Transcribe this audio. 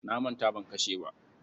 Na manta ban kashe ba.